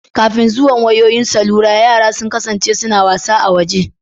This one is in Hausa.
Kafin zuwan wayoyin salula yara sun kasance suna son yin wasa a waje